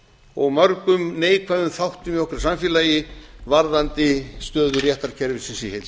og mörgum neikvæðum þáttum í okkar samfélagi varðandi stöðu réttarkerfisins